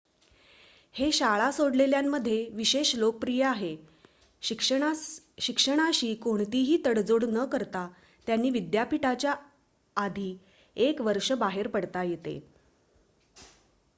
हे शाळा सोडलेल्यांमध्ये विशेष लोकप्रिय आहे शिक्षणाशी कोणतीही तडजोड न करता त्यांना विद्यापिठाच्या आधी एक वर्ष बाहेर पडता येते